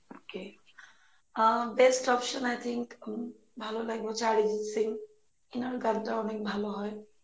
okay ah best option I think um ভালো লাগবে অরিজিত সিং এনার গানটা অনেক ভালো হয়